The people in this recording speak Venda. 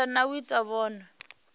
phanda na u ita vhunwe